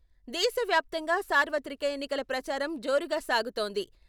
దేశవ్యాప్తంగా సార్వత్రిక ఎన్నికల ప్రచారం జోరుగా సాగుతోంది.